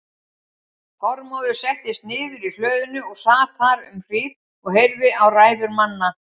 Þormóður settist niður í hlöðunni og sat þar um hríð og heyrði á ræður manna.